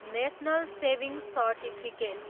national saving certificate